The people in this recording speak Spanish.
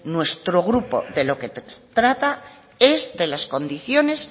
nuestro grupo de lo que se trata es de las condiciones